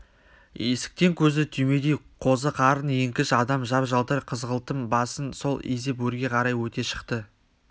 есіктен көзі түймедей қозы қарын еңкіш адам жап-жалтыр қызғылтым басын сол изеп өрге қарай өте шықты